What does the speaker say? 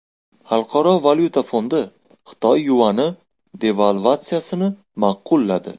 Xalqaro valyuta fondi Xitoy yuani devalvatsiyasini ma’qulladi.